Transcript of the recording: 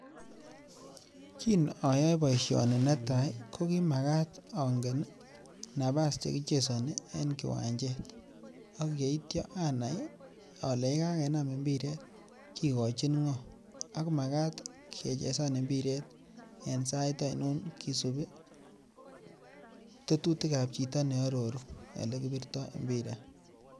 Kiin oyoee boishoni netaa kokimakat ong'en nabaas chekichesoni en kiwanjet ak yeityo anai olee yekakenam mbiret kikochin ng'oo ak makaat kechesan mbiret en saiit ainon kisibii tetutikab chito neororuu elekibirto mbiret.